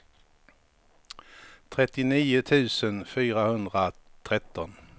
trettionio tusen fyrahundratretton